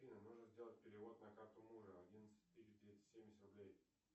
афина нужно сделать перевод на карту мужа одиннадцать тысяч двести семьдесят рублей